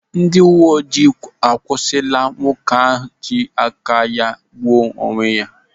Ndị uwe ojii akwụsịla nwoke iji aka ya igbuo onwe ya.